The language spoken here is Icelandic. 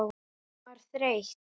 Hún var þreytt.